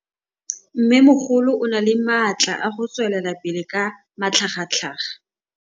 Mmêmogolo o na le matla a go tswelela pele ka matlhagatlhaga.